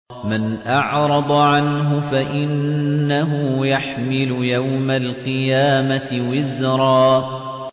مَّنْ أَعْرَضَ عَنْهُ فَإِنَّهُ يَحْمِلُ يَوْمَ الْقِيَامَةِ وِزْرًا